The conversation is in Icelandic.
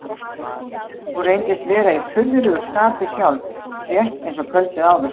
Hún reyndist vera í furðulegu skapi sjálf, rétt eins og kvöldið áður.